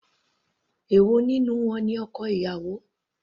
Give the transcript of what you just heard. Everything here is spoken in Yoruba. Èwo nínú wọn ni ọkọ ìyàwó.